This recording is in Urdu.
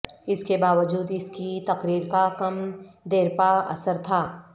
اس کے باوجود اس کی تقریر کا کم دیرپا اثر تھا